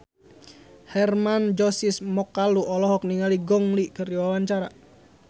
Hermann Josis Mokalu olohok ningali Gong Li keur diwawancara